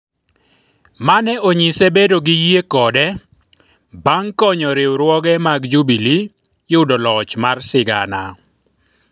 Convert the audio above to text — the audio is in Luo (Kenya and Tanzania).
mane onyise bedo gi yie kode bang' konyo riwruoge mag Jubilee yudo loch mar sigana